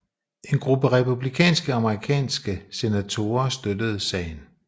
En gruppe republikanske amerikanske senatorer støttede sagen